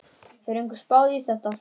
Hefur einhver spáð í þetta?